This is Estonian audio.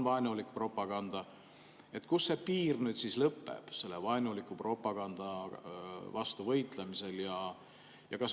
Kus on see piir siis selle vaenuliku propaganda vastu võitlemisel?